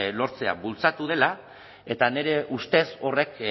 lortzea bultzatu dela eta nire ustez horrek